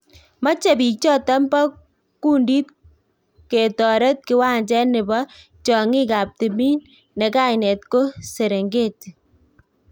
Mache biik choton bo kondit ketoret kiwanje nebo tionginy ab timin ne kainet ko Serengeti